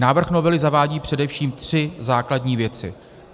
Návrh novely zavádí především tři základní věci.